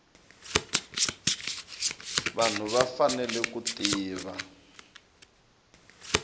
vanhu va fanele ku tiva